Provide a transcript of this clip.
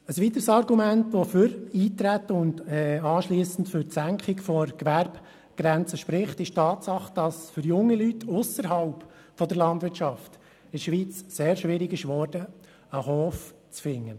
Ein weiteres Argument, das für Eintreten und anschliessend für die Senkung der Gewerbegrenze spricht, ist die Tatsache, dass es für junge Leute ausserhalb der Landwirtschaft in der Schweiz sehr schwierig geworden ist, einen Hof zu finden.